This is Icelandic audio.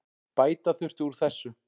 Bæta þurfi úr þessu.